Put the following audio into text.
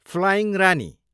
flying Rani